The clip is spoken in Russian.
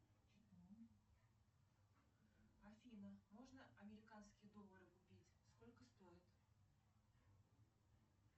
афина можно американские доллары купить сколько стоит